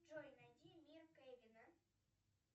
джой найди мир кевина